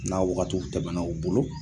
N'a wagatiw tɛmɛna u bolo